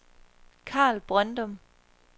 Carl Brøndum